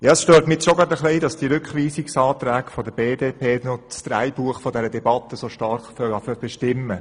Es stört mich schon, dass der Rückweisungsantrag der BDP das Drehbuch dieser Debatte so stark bestimmt.